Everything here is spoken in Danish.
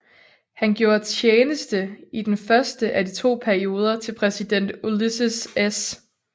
Han gjorde tjeneste i den første af de to perioder til præsident Ulysses S